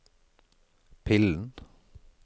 pillen